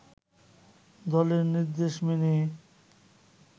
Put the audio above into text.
দলের নির্দেশ মেনে